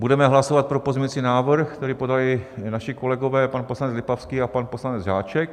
Budeme hlasovat pro pozměňovací návrh, který podali naši kolegové pan poslanec Lipavský a pan poslanec Žáček.